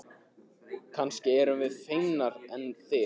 Kannski erum við feimnari en þið.